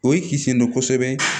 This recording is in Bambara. O ye kisi sen dɔ kosɛbɛ